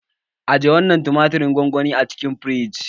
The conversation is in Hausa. Aje wannan tumatirin gongoni a cikin firiji.